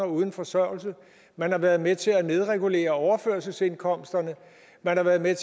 uden forsørgelse man har været med til at nedregulere overførselsindkomsterne man har været med